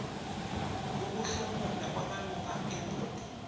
ukuhlomula kwamalungu ebhodi